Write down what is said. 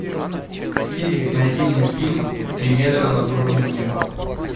сири найди мне фильм три метра над уровнем неба